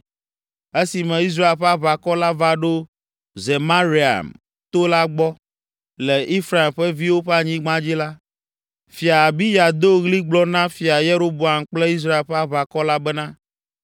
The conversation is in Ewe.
Esime Israel ƒe aʋakɔ la va ɖo Zemaraim to la gbɔ, le Efraim ƒe viwo ƒe anyigba dzi la, Fia Abiya do ɣli gblɔ na Fia Yeroboam kple Israel ƒe aʋakɔ la bena,